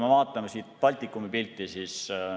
Vaatame Baltikumi pilti.